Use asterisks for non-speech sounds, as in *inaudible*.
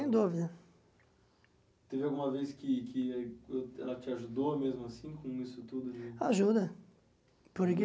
*unintelligible* Teve alguma vez que que ela te ajudou mesmo assim com isso tudo? Ajuda por